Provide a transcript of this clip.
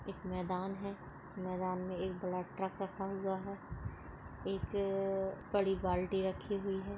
एक मैदान है मैदान में एक बड़ा ट्रक रखा हुआ है एक बड़ी बाल्टी रखी हुई है।